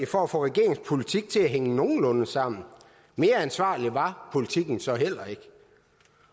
for at få regeringens politik til at hænge nogenlunde sammen mere ansvarlig var politikken så heller ikke